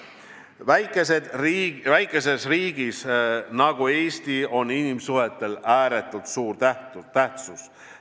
Väikeses riigis nagu Eesti on inimsuhetel suur tähtsus.